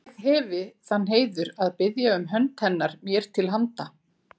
Ég hefi þann heiður að biðja um hönd hennar mér til handa.